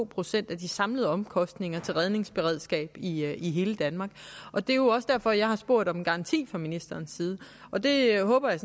procent af de samlede omkostninger til redningsberedskab i i hele danmark og det er jo også derfor jeg har spurgt om en garanti fra ministerens side og der håber jeg